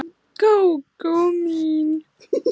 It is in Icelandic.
Gógó mín.